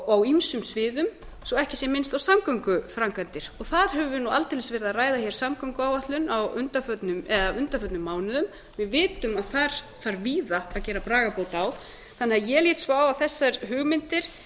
á ýmsum sviðum svo ekki sé minnst á samgönguframkvæmdir þar höfum við aldeilis verið að ræða samgönguáætlun á undanförnum mánuðum við vitum að þar þarf víða að gera bragarbót á þannig að ég lít svo á að þessar hugmyndir